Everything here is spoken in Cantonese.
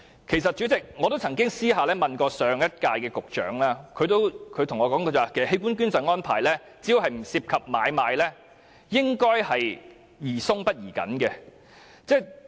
其實，我曾私下詢問上任局長，他亦告訴我在器官捐贈安排上，只要不涉及買賣便宜鬆不宜緊。